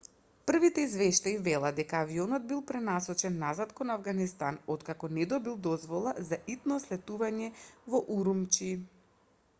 првите извештаи велат дека авионот бил пренасочен назад кон авганистан откако не добил дозвола за итно слетување во урумчи